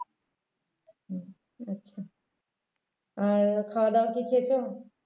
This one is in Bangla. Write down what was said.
হম খাওয়াদাওয়া কি খেয়েছো?